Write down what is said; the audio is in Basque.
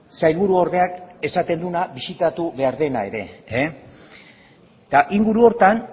sailburuordeak esaten duena bisitatu behar dena ere eta inguru horretan